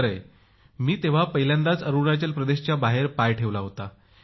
खरंय मी तेव्हा पहिल्यांदाच अरुणाचल प्रदेशाच्या बाहेर पाय ठेवला होता